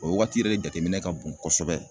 O waati yɛrɛ de jateminɛ ka bon kosɛbɛ.